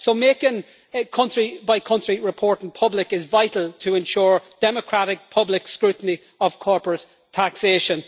So making country-by-country reporting public is vital to ensure democratic public scrutiny of corporate taxation.